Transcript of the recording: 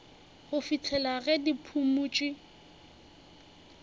go fihlela ge di phumotšwe